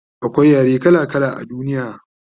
akwai yare kala kala a duniya